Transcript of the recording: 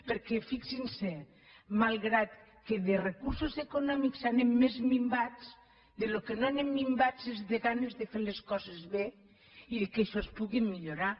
perquè fixin s’hi malgrat que de recursos econòmics anem més minvats del que no anem minvats és de ganes de fer les coses bé i que això es pugui millorar